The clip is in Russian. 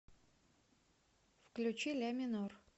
включи ляминор